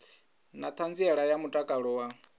na ṱhanziela ya mutakalo wa